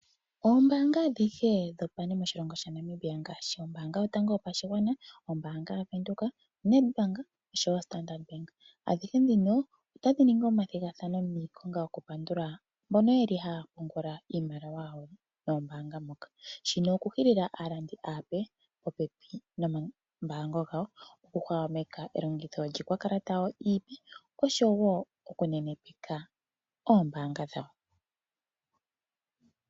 Oombaanga adhihe dhopane moshilongo Sha Namibia ngaashi ombaanga yotango yo pashigwa, ombaanga ya venduka, Nadbank osho wo o standard bank, adhihe ndhino ota dhi ningi oma thigathano oku pandula mboka yeli ha ya pungula moombaanga ndhoka. Shino oku hilila aalongithi aape oku hwahwameka lyikwa kalata yawo osho wo oku nenepeke oombaanga dhawo.